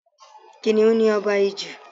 Kiniun ni ọba ijù